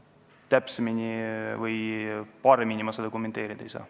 Täpsemini või paremini ma seda kommenteerida ei oska.